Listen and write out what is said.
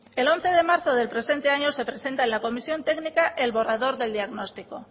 el once de marzo del presente año se presenta en la comisión técnica el borrador del diagnóstico